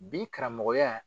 Bi karamɔgɔya